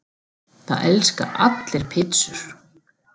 Það elska allir pizzur!